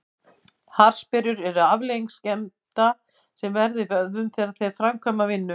Harðsperrur eru afleiðing skemmda sem verða í vöðvum þegar þeir framkvæma vinnu.